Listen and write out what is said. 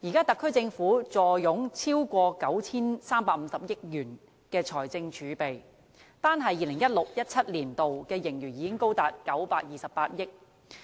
特區政府現時坐擁超過 9,350 億元的財政儲備，單是 2016-2017 年度的盈餘已經高達928億元。